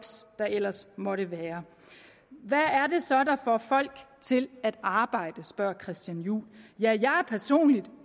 der ellers måtte være hvad er det så der får folk til at arbejde spørger herre christian juhl ja jeg